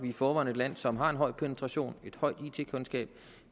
i forvejen et land som har en høj penetration et højt it kundskab